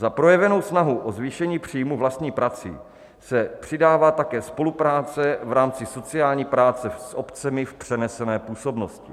Za projevenou snahu o zvýšení příjmu vlastní prací se přidává také spolupráce v rámci sociální práce s obcemi v přenesené působnosti.